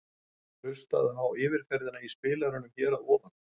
Hlustaðu á yfirferðina í spilaranum hér að ofan.